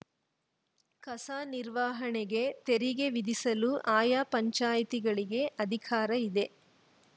ಕಸ ನಿರ್ವಹಣೆಗೆ ತೆರಿಗೆ ವಿಧಿಸಲು ಆಯಾ ಪಂಚಾಯ್ತಿಗಳಿಗೆ ಅಧಿಕಾರ ಇದೆ